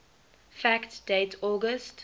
fact date august